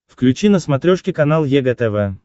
включи на смотрешке канал егэ тв